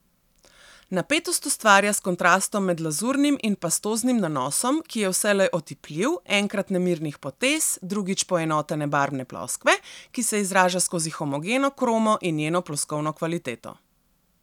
Napetost ustvarja s kontrastom med lazurnim in pastoznim nanosom, ki je vselej otipljiv, enkrat nemirnih potez, drugič poenotene barvne ploskve, ki se izraža skozi homogeno kromo in njeno ploskovno kvaliteto.